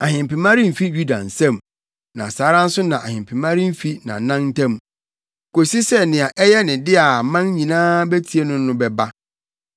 Ahempema remfi Yuda nsam, na saa ara nso na ahempema remfi nʼanan ntam, kosi sɛ, nea ɛyɛ ne dea a aman nyinaa betie no no bɛba.